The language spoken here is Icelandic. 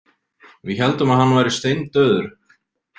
Við héldum að hann væri steindauður.